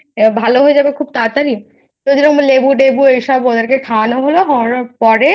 ভালো হয়ে যাবে খুব তাড়াতাড়ি তো যেমন লেবু তেবু ওসব ওদের খাওয়ানো হলো খাওয়ানোর পরে